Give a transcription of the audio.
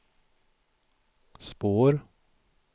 spår